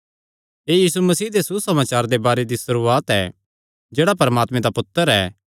एह़ यीशु मसीह दे सुसमाचार दे बारे दी सुरुआत ऐ जेह्ड़ा परमात्मे दा पुत्तर ऐ